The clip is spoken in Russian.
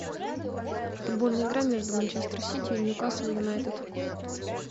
футбольная игра между манчестер сити и ньюкасл юнайтед